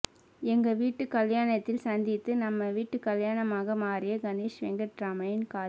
எங்க வீட்டு கல்யாணத்தில் சந்தித்து நம்ம வீட்டு கல்யாணமாக மாறிய கணேஷ் வெங்கட்ராமின் காதல்